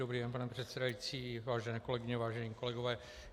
Dobrý den, pane předsedající, vážené kolegyně, vážení kolegové.